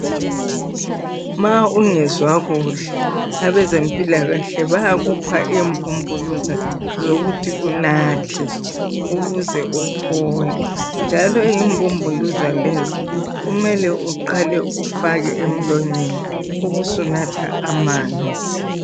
Ma ungezwa kuhle abezempilakahle bayakupha imbumbuluza zokuthi unathe, ukuze uphole njalo imbumbuluza lezo kumele uqale ufake emlonyeni ubusunatha amanzi.